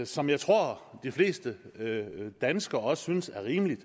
som jeg tror de flest danskere også synes er rimeligt